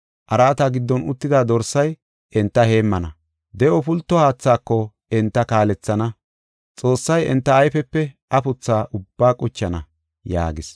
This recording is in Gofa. Araata giddon uttida Dorsay enta heemmana. De7o pulto haathaako enta kaalethana. Xoossay enta ayfepe afutha ubbaa quchana” yaagis.